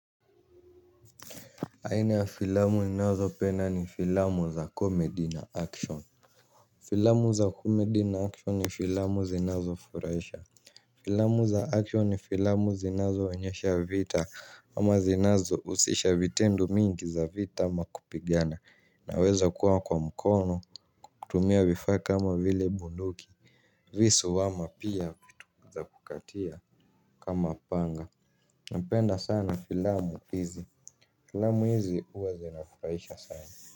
Aina ya filamu ninazopenda ni filamu za comedy na action. Filamu za comedy na action ni filamu zinazofurahisha. Filamu za action ni filamu zinazoonyesha vita ama zinazohusisha vitendo mingi za vita ama kupigana inaweza kuwa kwa mkono kwa kutumia vifaa kaama vile bunduki visu ama pia vitu za kukatia kama panga. Napenda sana filamu hizi filamu hizi huwa zinafurahisha sana.